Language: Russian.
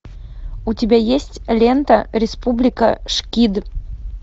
у тебя есть лента республика шкид